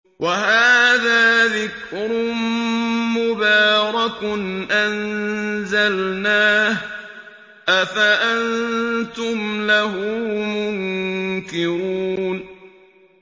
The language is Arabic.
وَهَٰذَا ذِكْرٌ مُّبَارَكٌ أَنزَلْنَاهُ ۚ أَفَأَنتُمْ لَهُ مُنكِرُونَ